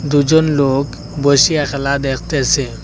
দু'জন লোক বসিয়া খেলা দেখতেছে।